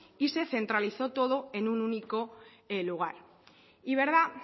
y se centralizó todo en un único lugar